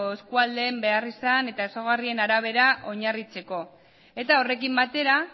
eskualdeen beharrizan eta ezaugarrien arabera oinarritzeko eta horrekin batera